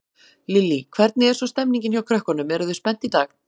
Lillý: Hvernig er svo stemmingin hjá krökkunum, eru þau spennt í dag?